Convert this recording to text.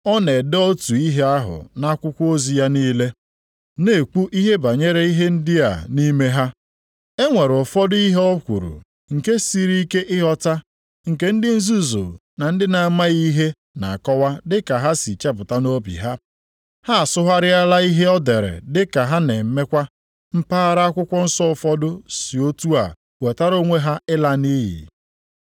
O na-ede otu ihe ahụ nʼakwụkwọ ozi ya niile, na-ekwu ihe banyere ihe ndị a nʼime ha. E nwere ụfọdụ ihe o kwuru nke siri ike ịghọta nke ndị nzuzu na ndị na-amaghị ihe na-akọwa dịka ha si chepụta nʼobi ha. Ha asụgharịala ihe o dere dịka ha na-emekwa mpaghara akwụkwọ nsọ ụfọdụ, si otu a wetara onwe ha ịla nʼiyi.